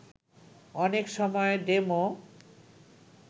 অনেক সময় ডেমো